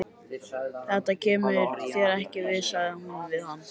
Þetta kemur þér ekki við, sagði hún við hann.